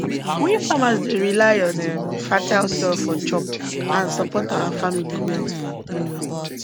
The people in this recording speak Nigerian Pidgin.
we farmers dey rely on um fertile soil for chop and support our family well um